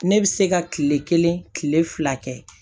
Ne bɛ se ka kile kelen kile fila kɛ